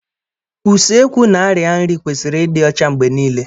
Useekwu na arịa nri kwesịrị ịdị ọcha mgbe niile